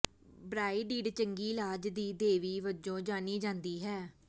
ਬ੍ਰਾਈਡਿਡ ਚੰਗੀ ਇਲਾਜ ਦੀ ਦੇਵੀ ਵਜੋਂ ਜਾਣੀ ਜਾਂਦੀ ਹੈ